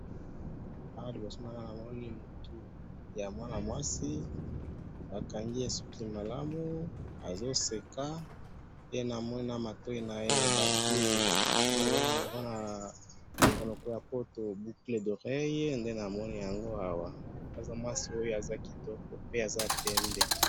Awa liboso na nga namoni mutu ya mwana mwasi bakangi ye suki malamu azo seka pe namoni na matoi naye batie oyo babengaka na munoko ya poto boucles d'oreilles nde namoni yango awa aza mwasi oyo aza mwasi kitoko pe ya pembe